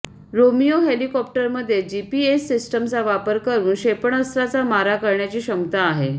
Romeo हेलिकॉप्टरमध्ये GPS सिस्टमचा वापर करून क्षेपणास्त्राचा मारा करण्याची क्षमता आहे